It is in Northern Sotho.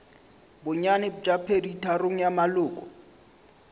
bonnyane bja peditharong ya maloko